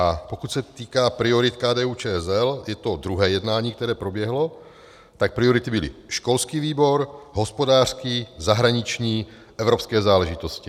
A pokud se týká priorit KDU-ČSL, je to druhé jednání, které proběhlo, tak priority byly: školský výbor, hospodářský, zahraniční, evropské záležitosti.